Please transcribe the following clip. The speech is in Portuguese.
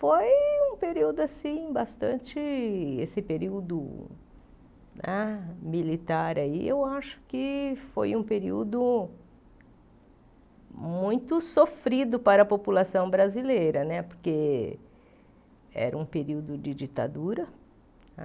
Foi um período assim, bastante... Esse período ah militar, eu acho que foi um período muito sofrido para a população brasileira né, porque era um período de ditadura,